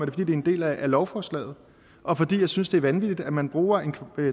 det er en del af lovforslaget og fordi jeg synes det er vanvittigt at man bruger